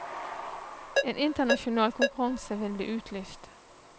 En internasjonal konkurranse vil bli utlyst.